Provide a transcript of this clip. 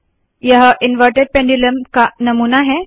यह inverted pendulum का नमूना है